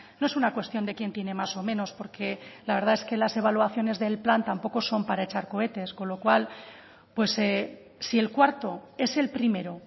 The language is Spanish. no es una cuestión de quién tiene más o menos porque la verdad es que las evaluaciones del plan tampoco son para echar cohetes con lo cual pues si el cuarto es el primero